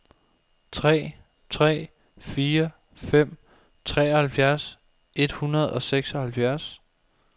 tre tre fire fem treoghalvtreds et hundrede og seksoghalvfjerds